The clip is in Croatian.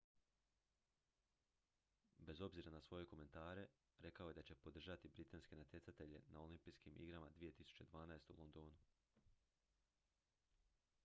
bez obzira na svoje komentare rekao je da će podržati britanske natjecatelje na olimpijskim igrama 2012. u londonu